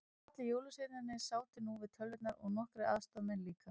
Allir jólasveinarnir sátu nú við tölvurnar og nokkrir aðstoðamenn líka.